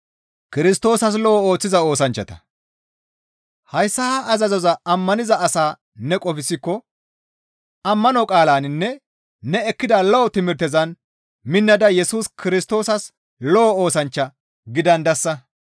Hayssa ha azazoza ammaniza asaa ne qofsikko, ammano qaalaninne ne ekkida lo7o timirtezan minnada Yesus Kirstoosas lo7o oosanchcha gidandasa.